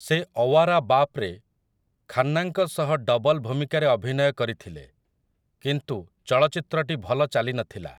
ସେ 'ଅୱାରା ବାପ୍'ରେ ଖାନ୍ନାଙ୍କ ସହ ଡବଲ୍ ଭୂମିକାରେ ଅଭିନୟ କରିଥିଲେ, କିନ୍ତୁ ଚଳଚ୍ଚିତ୍ରଟି ଭଲ ଚାଲି ନଥିଲା ।